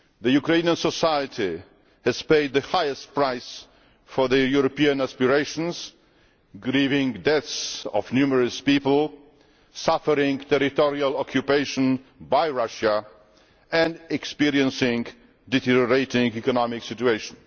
Ukrainian society has paid the highest price for their European aspirations, grieving the deaths of numerous people, suffering territorial occupation by Russia and experiencing a deteriorating economic situation.